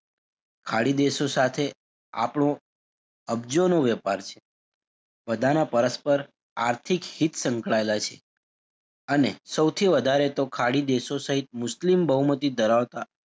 ખાડીદેશો સાથે આપડો અબજોનો વેપાર છે બધાંના પરસ્પર આર્થિક હિત સંકળાયેલા છે અને સૌથી વધારે તો ખાડીદેશો સહીત મુસ્લિમ બહુમતી ધરાવતાં,